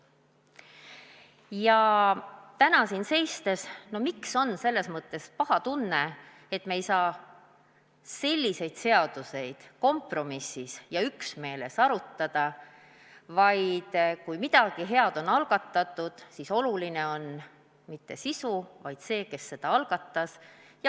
Ja täna siin seistes on selles mõttes paha tunne, et me ei saa selliseid seaduseid kompromissi otsides ja üksmeeles arutada, vaid kui midagi head on algatatud, siis oluline ei ole mitte sisu, vaid see, kes selle algatas.